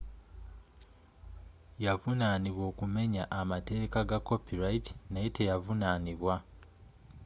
yavunaanibwa okumumenya amateeka ga copyrigh naye teyavunaanibwa